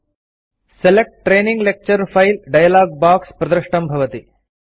select training lecture file dialogue प्रदृष्टं भवति